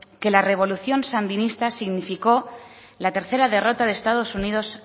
que la revolución sandinista significó la tercera derrota de estado unidos